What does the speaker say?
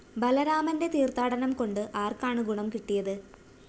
ബലരാമന്റെ തീര്‍ത്ഥാടനം കൊണ്ട് ആര്‍ക്കാണ് ഗുണം കിട്ടിയത്?